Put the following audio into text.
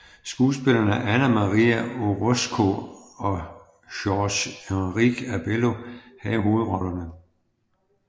Skuespillerne Ana María Orozco og Jorge Enrique Abello havde hovedrollerne